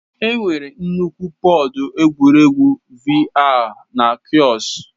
Enwere nnukwu pọd egwuregwu VR na kiosk.